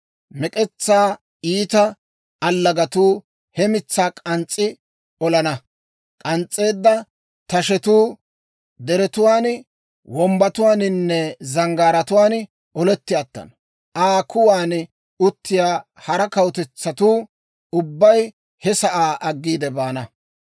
Mek'etsaa iita allagatuu he mitsaa k'ans's'i olana; k'ans's'eedda tashetuu deretuwaan, wombbatuwaaninne zanggaaratuwaan oletti attana. Aa kuwan uttiyaa hara kawutetsatuu ubbay he sa'aa aggiide baana.